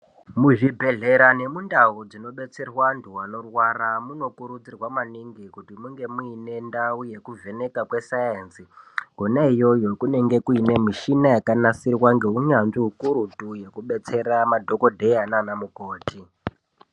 Muzvibhedhlera nemundau dzinobetserwa andu anorwara munikurudzirwa maningi kuti munge muine ndawu yekuvheneka kweSaenzi, kona iyoyo kunenge kuine mishina yakanasirwa ngeunyanzvi hukurutu yekubetsera madhokodheya nanamukoti.